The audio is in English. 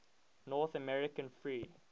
north american free